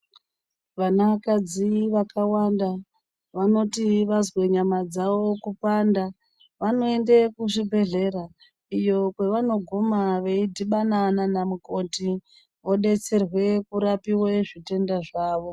Vanakadzi vakawandi vanoti vazwe nyama dzavo kupanda vanoende kuzvibhedhleya iyo kwavanogoma veidhibana naanamukoti vodetserwe kurapiwe zvitenda zvavo